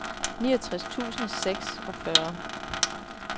niogtres tusind og seksogfyrre